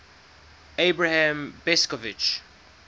abram besicovitch